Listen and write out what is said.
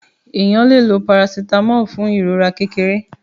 Ènìyàn lẹ ló paracetamol fun ìrora kékeré.